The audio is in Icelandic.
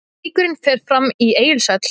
Leikurinn fer fram í Egilshöll.